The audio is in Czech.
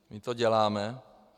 My to děláme.